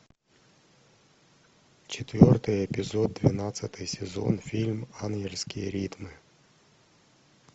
четвертый эпизод двенадцатый сезон фильм ангельские ритмы